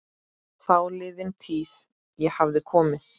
Þáliðin tíð- ég hafði komið